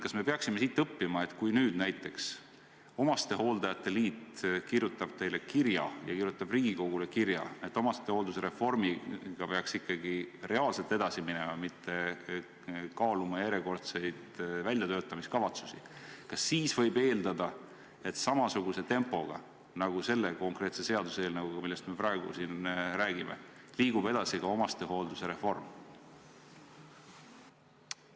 Kas me peaksime siit õppima seda, et kui näiteks omastehooldajate liit kirjutab teile ja Riigikogule kirja, et omastehoolduse reformiga peaks ikkagi reaalselt edasi minema, mitte kaaluma järjekordseid väljatöötamiskavatsusi, siis kas võib eeldada, et samasuguse tempoga nagu selle konkreetse seaduseelnõuga, millest me praegu siin räägime, liigub edasi ka omastehoolduse reform?